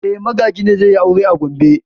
E, Magaji ne zai yi aure a Gombe.